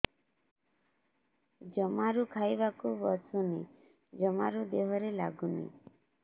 ଜମାରୁ ଖାଇବାକୁ ବସୁନି ଜମାରୁ ଦେହରେ ଲାଗୁନି